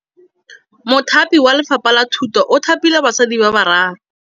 Mothapi wa Lefapha la Thutô o thapile basadi ba ba raro.